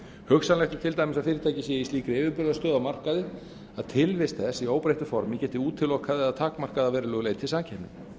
hugsanlegt er til dæmis að fyrirtæki sé í slíkri yfirburðastöðu á markaði að tilvist þess í óbreyttu formi geti útilokað eða takmarkað að verulegu leyti samkeppni